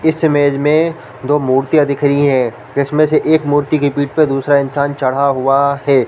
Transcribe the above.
इस इमेज में दो मूर्तियाँ दिख रही है इसमें से एक मूर्ति की पीठ पे दूसरा इंसान चढ़ा हुआ हैं ।